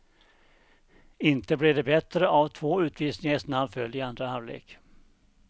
Inte blev det bättre av två utvisningar i snabb följd i andra halvlek.